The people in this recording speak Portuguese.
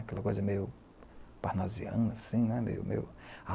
Aquela coisa meio parnoziana, assim, né?